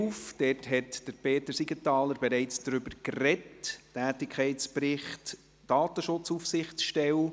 Peter Siegenthaler hat bereits über den Tätigkeitsbericht der Datenschutzaufsichtsstelle gesprochen.